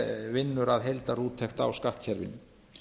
vinnur að heildarúttekt á skattkerfinu